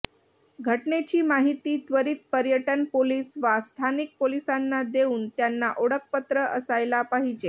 घटनेची माहिती त्वरित पर्यटन पोलीस वा स्थानिक पोलिसांना देऊन त्यांना ओळखपत्र असायला पाहिजे